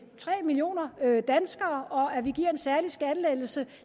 tre millioner danskere og en særlig skattelettelse